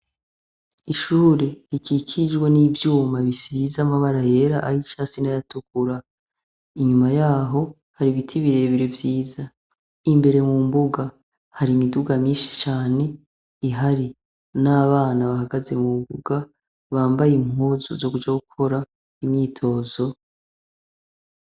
Ishure rikikijwe n’ivyuma bisize amabara yera, ay’icatsi n’ayatukura, inyuma yaho, har’ibiti birebire vyiza, imbere mumbuga , har’imiduga myinshi cane ihari, n’abana bahagaze mumbuga bambay’impuzu zo kuja gukora imyitozo.